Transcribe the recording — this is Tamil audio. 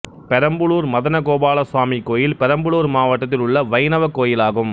பெரம்பலூர் மதனகோபால சுவாமி கோயில் பெரம்பலூர் மாவட்டத்தில் உள்ள வைணவக் கோயிலாகும்